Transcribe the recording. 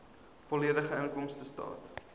volledige inkomstestaat